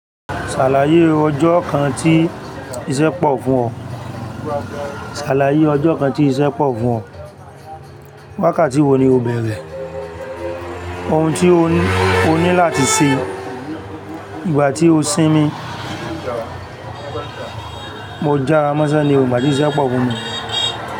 Ṣàlàyé e ọjọ́ kan tí iṣẹ́ pọ̀ fún ọ. Ṣàlàyé ọjọ́ kan tí iṣẹ́ pọ̀ fún ọ. Wákàtí wo ni o bẹ̀erẹ̀? Ohun tí o ní- oni láti ṣe. Ìgbà tí o sinmi. Mo jára mọ́sẹ́ ni o, ìgbà tí iṣẹ́ pọ̀ fún mi.